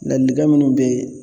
Ladilikan minnu be yen